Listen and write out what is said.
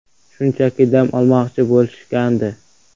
Shunchaki dam olmoqchi bo‘lishgandi.